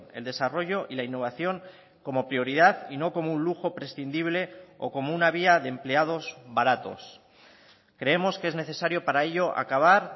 el desarrollo y la innovación como prioridad y no como un lujo prescindible o como una vía de empleados baratos creemos que es necesario para ello acabar